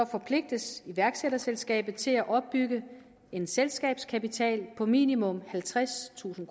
forpligtes iværksætterselskabet til at opbygge en selskabskapital på minimum halvtredstusind